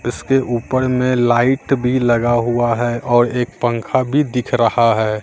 इसके ऊपर में लाइट भी लगा हुआ है और एक पंखा भी दिख रहा है।